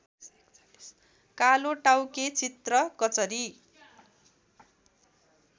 कालोटाउके चित्रकचरी